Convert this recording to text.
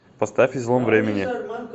поставь излом времени